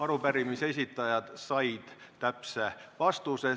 Arupärimise esitajad said täpse vastuse.